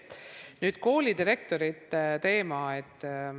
Nüüd koolidirektorite teema.